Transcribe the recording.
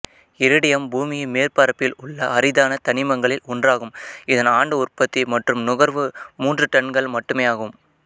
iridium பூமியின் மேற்பரப்பில் உள்ள அரிதான தனிமங்களில் ஒன்றாகும் இதன் ஆண்டு உற்பத்தி மற்றும் நுகர்வு மூன்று டன்கள் மட்டுமேயாகும்